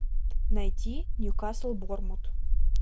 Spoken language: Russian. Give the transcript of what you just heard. найти ньюкасл борнмут